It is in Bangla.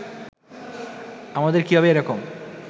আমাদের কীভাবে এ রকম